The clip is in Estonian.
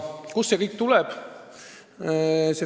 Kust see kõik tuleb?